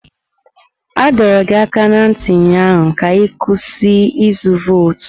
A dọrọ gị aka ná ntị ụnyaahụ ka ị kwụsị ịzụ vootu!